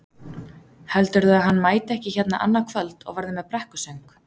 Heldurðu að hann mæti ekki hérna annað kvöld og verði með brekkusöng?